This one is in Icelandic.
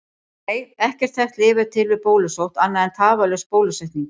Nei, ekkert þekkt lyf er til við bólusótt annað en tafarlaus bólusetning.